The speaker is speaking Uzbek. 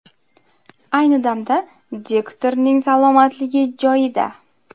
Ayni damda diktorning salomatligi joyida.